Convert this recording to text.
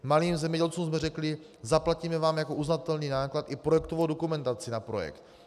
Malým zemědělcům jsme řekli: zaplatíme vám jako uznatelný náklad i projektovou dokumentaci na projekt.